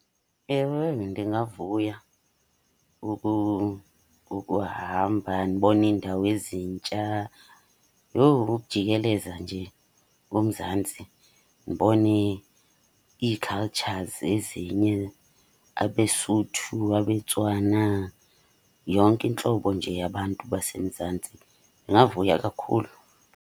Ewe, ndingavuya ukuhamba ndibone iindawo ezintsha. Yho ukujikeleza nje uMzantsi ndibone ii-cultures ezinye, abeSuthu, abeTswana, yonke intlobo nje yabantu baseMzantsi. Ndingavuya kakhulu.